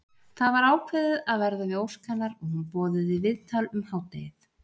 Það var ákveðið að verða við ósk hennar og hún boðuð í viðtal um hádegið.